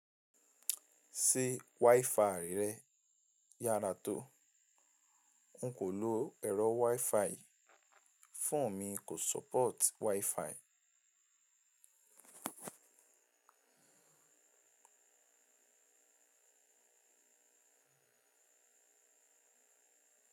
Ṣé wifi rẹ yára tó? N kò lo ẹ̀rọ wifi, fóònù mi kò support wifi.